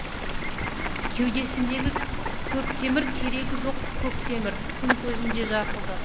кеудесіндегі көп темір керегі жоқ көк темір күн көзіне жарқылдап